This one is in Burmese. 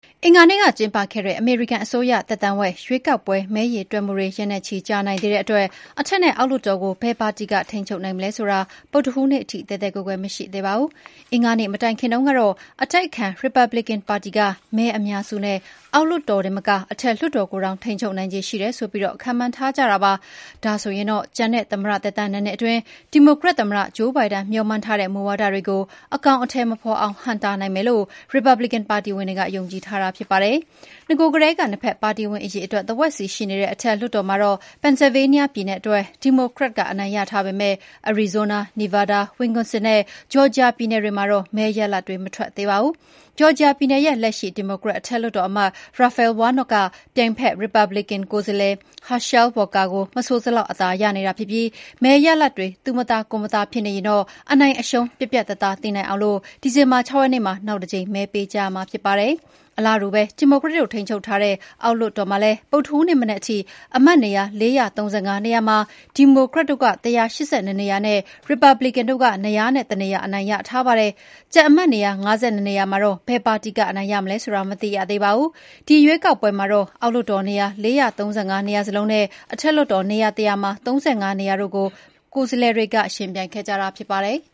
အင်္ဂါနေ့ကကျင်းပခဲ့တဲ့ အမေရိကန် အစိုးရ သက်တမ်းဝက် ရွေးကောက်ပွဲ မဲရေတွက်မှုတွေ ရက်နဲ့ချီကြာနိုင်သေးတဲ့အတွက် အထက်နဲ့အောက်လွှတ်တော်ကို ဘယ်ပါတီက ထိန်းချုပ်နိုင်မလဲဆိုတာ ဗုဒ္ဓဟူးနေ့ထိ သဲသဲကွဲကွဲမရှိသေးပါဘူး။ အင်္ဂါနေ့ မတိုင်ခင်တုန်းကတော့ အတိုက်အခံ ရီပတ်ဘလစ်ကန်ပါတီက မဲအများစုနဲ့ အောက်လွှတ်တော်တင်မက အထက်လွှတ်တော်ကိုတောင် ထိ်န်းချုပ်နိုင်ခြေရှိတယ်ဆိုပြီး ခန့်မှန်းထားကြတာပါ။ ဒါဆိုရင်တော့ ကျန်တဲ့သမ္မတသက်တမ်း ၂ နှစ်အတွင်း ဒီမိုကရက်သမ္မတ ဂျိုးဘိုင်ဒန် မေ ျှာ်မှန်းထားတဲ့ မူဝါဒတွေကို အကောင်အထည်မဖော်အောင် ဟန့်တားနိုင်မယ်လု့ိ ရီပတ်ဘလစ်ကန်ပါတီတွေက ယုံကြည်ထားကြတာဖြစ်ပါတယ်။ နဂို ကတည်းက နှစ်ဖက်ပါတီဝင် အရေအတွက် တဝက်စီရှိနေတဲ့ အထက်လွှတ်တော်မှာတော့ Pennsylvania ပြည်နယ်အတွက် ဒီမိုကရက်က အနိုင်ရထားပေမယ့် အရီဇိုးနား၊ နီဗားဒါး၊ Wisconsin နဲ့ ဂျော်ဂျီယာပြည်နယ်တွေမှာတော့ မဲရလဒ်တွေ မထွက်သေးပါဘူး။ ဂျော်ဂျီယာပြည်နယ်ရဲ့ လက်ရှိ ဒီမိုကရက်အထက်လွှတ်တော်အမတ် Raphael Warnock က ပြိုင်ဖက် ရီပတ် ဘလစ်ကန်ကိုယ်စားလှယ် Herschel Walker ကို မဆိုစလောက် အသာရနေတာ ဖြစ်ပြီး မဲရလဒ်တွေ သူမသာကိုယ်မသာဖြစ်နေရင်တော့ အနိုင်အရှုံးပြတ်ပြတ်သားသားသိနိုင်အောင် ဒီဇင်ဘာ၆ ရက်နေ့မှာ နောက်တကြိမ်မဲပေးကြရမှာဖြစ်ပါတယ်။ အလားတူပဲ ဒီမိုကရက်တို့ ထိန်းချုပ်ထားတဲ့ အောက်လွှတ်တော်မှာလည်း ဗုဒ္ဓဟူးနေ့မနက်ထိ အမတ်နေရာ ၄၃၅ နေရာမှာ ဒီမိုကရက်တို့က ၁၈၂ နေရာနဲ့ ရီပတ်ဘလစ်ကန်တု့ိက ၂၀၁ နေရာအနိုင်ရထားပါတယ်။ ကျန်အမတ်နေရာ ၅၂ နေရာမှာတော့ ဘယ်ပါတီက အနိုင်ရမလဲဆိုတာ မသိရသေးပါဘူး။ ဒီ ရွေးကောက်ပွဲမှာတော့ အောက်လွှတ်တော်နေရာ ၄၃၅ နေရာစလုံးနဲ့ အထက်လွှတ်တော်နေရာ ၁၀၀ မှာ ၃၅ နေရာတို့ကို ကိုယ်စားလှယ်တွေ ယှဉ်ပြိုင်ခဲ့ကြတာဖြစ်ပါတယ်။